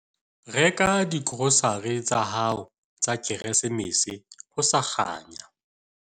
Reka digrosare tsa hao tsa Keresemese ho sa kganya.